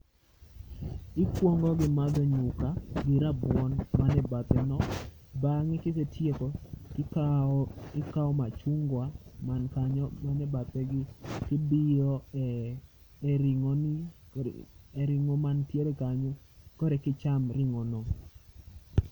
Ikwongo gi madho nyuka gi rabuon mane bathe no. Bang'e kisetieko ikawo machungwa man kanyo, mane bathe gi, tibiyo e, e ring’o ni e ring'o mantiere kanyo korekicham ring'o no.